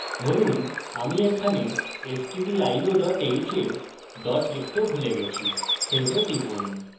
ধরুন আমি এখানে stdio h এ dot লিখতে ভুলে গেছি save এ টিপুন